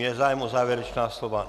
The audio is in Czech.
Je zájem o závěrečná slova?